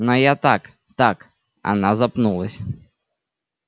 но я так так она запнулась